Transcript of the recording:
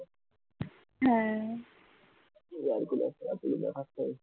air collar না থাকলে ।